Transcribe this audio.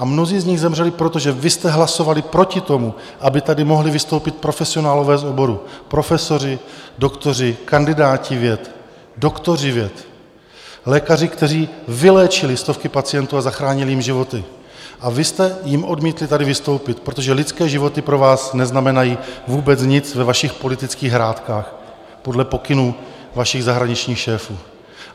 A mnozí z nich zemřeli, protože vy jste hlasovali proti tomu, aby tady mohli vystoupit profesionálové z oboru - profesoři, doktoři, kandidáti věc, doktoři věd, lékaři, kteří vyléčili stovky pacientů a zachránili jim životy, a vy jste jim odmítli tady vystoupit, protože lidské životy pro vás neznamenají vůbec nic ve vašich politických hrátkách podle pokynů vašich zahraničních šéfů.